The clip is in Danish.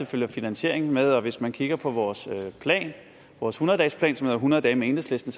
følger finansiering med hvis man kigger på vores plan vores hundrede dagesplan som hedder hundrede dage med enhedslisten